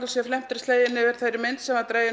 felmtri sleginn yfir þeirri mynd sem dregin